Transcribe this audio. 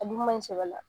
A dun man ɲi sɛbɛ la